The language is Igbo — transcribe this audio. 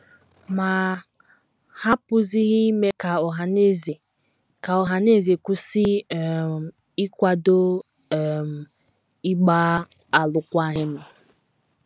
Ma, ha apụghịzi ime ka ọhaneze ka ọhaneze kwụsị um ịkwado um ịgba alụkwaghịm.